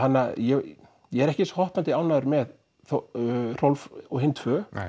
ég er ekki eins hoppandi ánægður með Hrólf og hin tvö